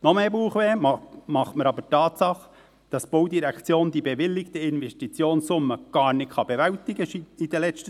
Noch mehr Bauchschmerzen bereitet mir allerdings die Tatsache, dass die BVE die bewilligte Investitionssumme in der letzten Zeit gar nicht bewältigen könnte.